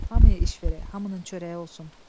Hamıya iş verək, hamının çörəyi olsun.